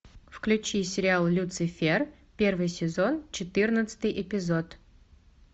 включи сериал люцифер первый сезон четырнадцатый эпизод